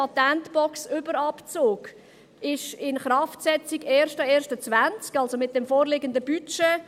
Der Patentbox-Überabzug wird am 01.01.2020 in Kraft gesetzt, also mit dem vorliegenden Budget.